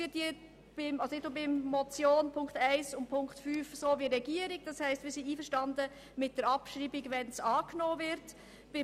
Wir sind in Ziffer 1 und 5 einverstanden mit dem Antrag der Regierung, das heisst, mit der Abschreibung der Ziffern, wenn sie angenommen werden.